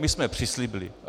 My jsme přislíbili.